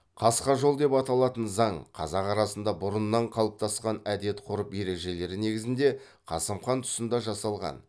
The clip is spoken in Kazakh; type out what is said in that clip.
қасқа жол деп аталатын заң қазақ арасында бұрыннан қалыптасқан әдет ғұрып ережелері негізінде қасым хан тұсында жасалған